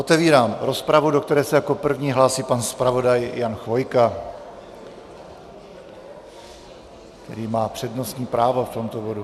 Otevírám rozpravu, do které se jako první hlásí pan zpravodaj Jan Chvojka, který má přednostní právo v tomto bodu.